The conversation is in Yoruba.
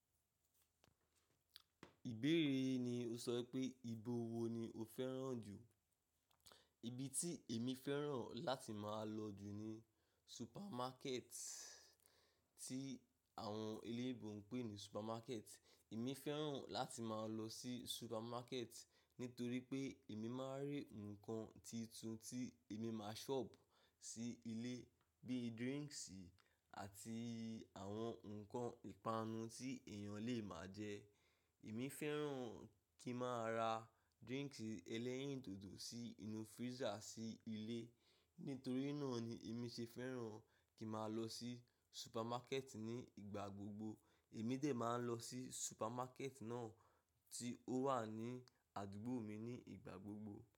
Ìbéèrè ni o sọ pé ìbò wo ni o fẹ́ràn jù? Ibi tí èmi fẹ́ràn láti máa lọ jù ni supermarket tí àwọn eléèbó ń pè ní supermarket. Èmi fẹ́ràn láti máa lọ sí supermarket nítorí pé èmi máa rí nǹkan titun tí èmi máa shop sí ilé bíi drinks àti àwọn nǹkan ìpanu tí èèyàn lè máa jẹ. Èmi fẹ́ràn kí n máa ra drinks ẹlẹ́yìn dòdò sí inú freezer sí ilé. Nítorí náà ni èmi ṣe fẹ́ràn kí máa lọ sí supermarket ní ìgbà gbogbo. Èmi dè máa ń lọ sí supermarket náà tí ó wà ní àdúgbò mi ní ìgbà gbogbo.